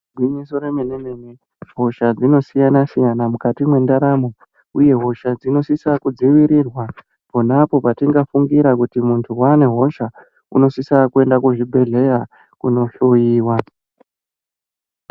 Gwinyiso remene mene hisha dzinosiyana siyana mukati mwendaramo uye hisha dzinosisa kudzivirirwa ponapo patingafungira kuti muntu wane hosha unosisa kuenda kuzvibhedhleya kunohloyiwa.